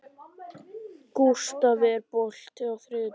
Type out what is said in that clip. Gústaf, er bolti á þriðjudaginn?